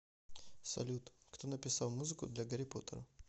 салют кто написал музыку для гарри поттера